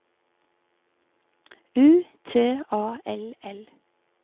U T A L L